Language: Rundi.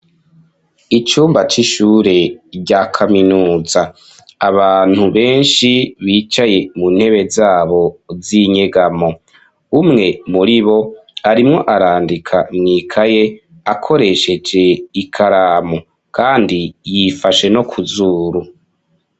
Icumba c'ishure rya kaminuza, abantu benshi bicaye mu ntebe zabo z'inyegamo, umwe muri bo arimwo arandika mwikaye akoresheje ikaramu, kandi yifashe no kuzuru.